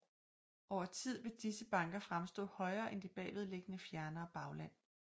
Over tid vil disse banker fremstå højere end det bagved liggende fjernere bagland